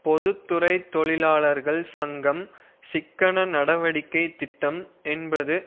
பொது துறை தொழிலாளர்கள் சங்கம் சிக்கன நடவடிக்கைத் திட்டம் என்பது